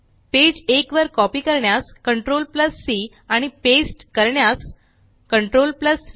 page एक वर copy करण्यास CTRLC आणि पेस्ट करण्यास CTRLV